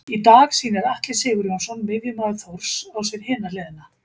Í dag sýnir Atli Sigurjónsson miðjumaður Þórs á sér hina hliðina.